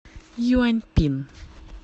юаньпин